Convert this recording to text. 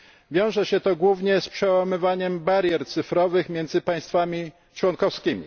Wiąże się to głównie z przełamywaniem barier cyfrowych między państwami członkowskimi.